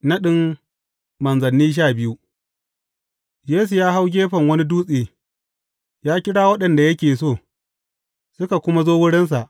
Naɗin manzanni sha biyu Yesu ya hau gefen wani dutse, ya kira waɗanda yake so, suka kuma zo wurinsa.